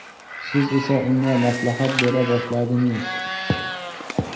Siz esa unga maslahat bera boshladingiz.